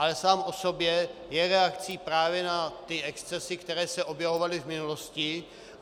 Ale sám o sobě je reakcí právě na ty excesy, které se objevovaly v minulosti.